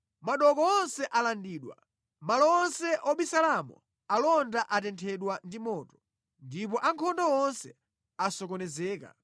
Madooko onse alandidwa, malo onse obisalamo alonda atenthedwa ndi moto, ndipo ankhondo onse asokonezeka.”